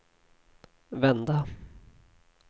vända